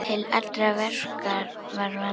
Til allra verka var vandað.